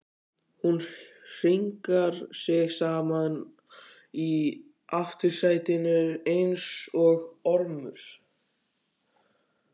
Hún hringar sig saman í aftursætinu einsog ormur.